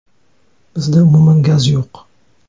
Bizda umuman gaz yo‘q.